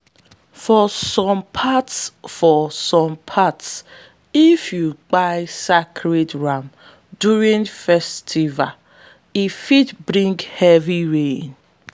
for some parts for some parts if you kpai sacred ram during festival e fit bring heavy rain.